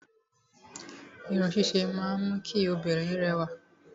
Irun ṣíṣe máa ń mú kí obìnrin rẹwà.